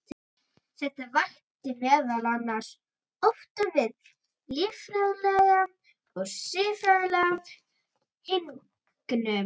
Þetta vakti meðal annars ótta við líffræðilega og siðferðilega hnignun.